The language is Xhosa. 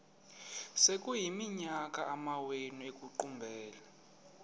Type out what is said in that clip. sekuyiminyaka amawenu ekuqumbele